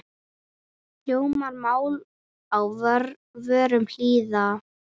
Hljómar mál á vörum lýða.